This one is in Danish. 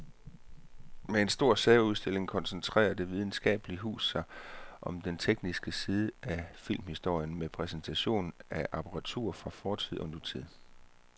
Med en stor særudstilling koncentrerer det videnskabelige hus sig om den tekniske side af filmhistorien med præsentation af apparatur fra fortid og nutid.